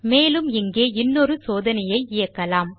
மேலும் இங்கே இன்னொரு சோதனையை இயக்கலாம்